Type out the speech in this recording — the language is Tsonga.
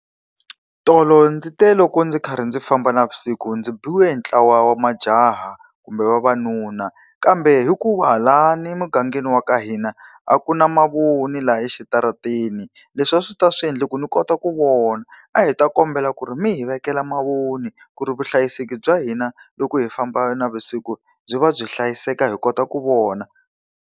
Tolo ndzi te loko ndzi karhi ndzi famba navusiku ndzi biwe ntlawa wa majaha kumbe vavanuna kambe hikuva laha ni mugangeni wa ka hina, a ku na mavoni laha exitarateni, leswi a swi ta swi endla ku ni kota ku vona. A hi ta kombela ku ri mi hi vekela mavoni ku ri vuhlayiseki bya hina loko hi famba navusiku byi va byi hlayiseka hi kota ku vona.